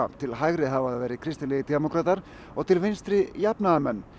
til hægri hafa það verið kristilegir demókratar og til vinstri jafnaðarmenn